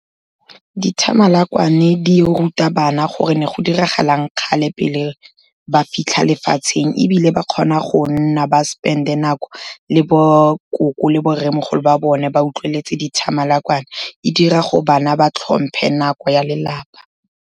Dithamalakwane di ruta bana gore ne go diragalang kgale pele ba fitlha lefatsheng, ebile ba kgona go nna ba spend-e nako le bokoko le borremogolo ba bone, ba utlweletse dithamalakwane, e dira gore bana ba tlhomphe nako ya lelapa.